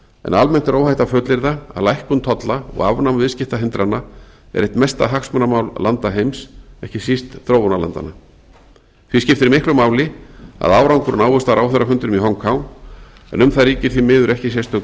en almennt er óhætt að fullyrða að lækkun tolla og afnám viðskiptahindrana er eitt mesta hagsmunamál landa heims ekki síst þróunarlandanna því skiptir miklu máli að árangur náist á ráðherrafundinum í hong kong en um það ríkir því miður ekki sérstök